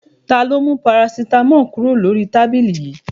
Ta ló mú parasítámọ̀ kúrò lórí tábìlì yìí?